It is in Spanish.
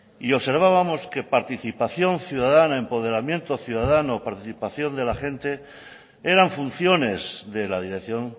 y observábamos que participación ciudadana empoderamiento ciudadano participación de la gente eran funciones de la dirección